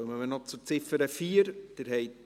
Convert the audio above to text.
Dann kommen wir noch zu Ziffer 4.